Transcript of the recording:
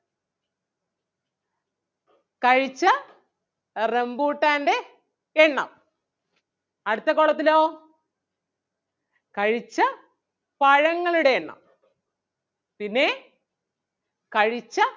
കഴിച്ച റംബൂട്ടാൻ്റെ എണ്ണം അടുത്ത column ത്തിലോ കഴിച്ച പഴങ്ങളുടെ എണ്ണം പിന്നേ കഴിച്ച